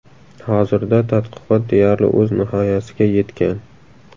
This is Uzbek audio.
Hozirda tadqiqot deyarli o‘z nihoyasiga yetgan.